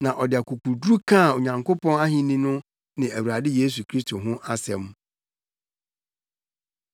Na ɔde akokoduru kaa Onyankopɔn Ahenni no ne Awurade Yesu Kristo ho asɛm.